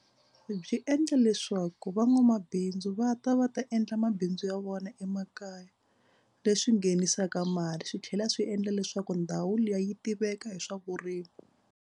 Byi endla leswaku van'wamabindzu va ta va ta endla mabindzu ya vona emakaya leswi nghenisaka mali swi tlhela swi endla leswaku ndhawu liya yi tiveka hi swa vurimi.